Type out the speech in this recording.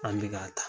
An bɛ ka taa